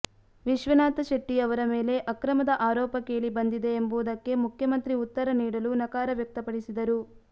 ವಿಶ್ವನಾಥ್ಶೆಟ್ಟಿ ಅವರ ಮೇಲೆ ಅಕ್ರಮದ ಆರೋಪ ಕೇಳಿ ಬಂದಿದೆ ಎಂಬುದಕ್ಕೆ ಮುಖ್ಯಮಂತ್ರಿ ಉತ್ತರ ನೀಡಲು ನಕಾರ ವ್ಯಕ್ತಪಡಿಸಿದರು